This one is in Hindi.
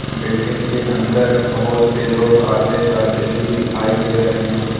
बिल्डिंग के अंदर बहुत से लोग आते जाते भी दिखाई दे रहे हैं।